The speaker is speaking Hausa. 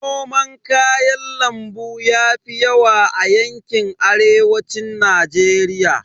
Noman kayan lambu yafi yawa a yanƙin Arewacin Najeriya.